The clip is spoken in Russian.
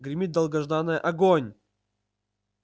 гремит долгожданное огонь